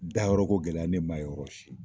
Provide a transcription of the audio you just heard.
Da yɔrɔko gɛlɛya ne man ye yɔrɔ si.